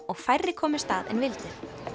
og færri komust að en vildu